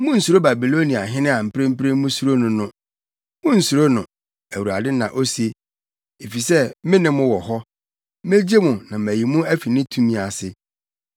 Munnsuro Babiloniahene a mprempren musuro no no. Munnsuro no, Awurade na ose, efisɛ mene mo wɔ hɔ, megye mo, na mayi mo afi ne tumi ase.